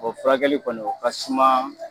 O furakɛli kɔni o ka suma